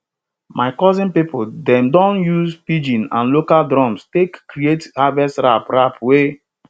my cousin people dem don use pidgin and local drums take create harvest rap rap wey